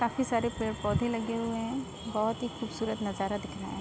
काफी सारे पेड़-पौधे लगे हुए है बहुत ही खूबसूरत नजारा दिख रहा है।